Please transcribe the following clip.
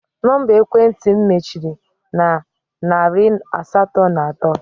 Nọmba ekwentị m mechiri na narị asatọ na atọ